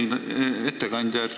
Austatud ettekandja!